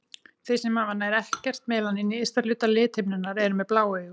Þeir sem hafa nær ekkert melanín í ysta hluta lithimnunnar eru með blá augu.